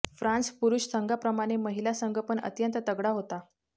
France पुरुष संघाप्रमाणे महिला संघ पण अत्यंत तगडा होता